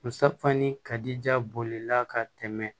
Musafani kadi ja bolila ka tɛmɛ